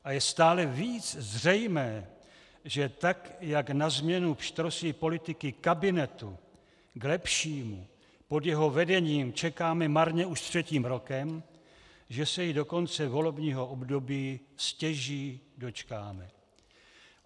A je stále víc zřejmé, že tak jak na změnu pštrosí politiky kabinetu k lepšímu pod jeho vedením čekáme marně už třetím rokem, že se jí do konce volebního období stěží dočkáme.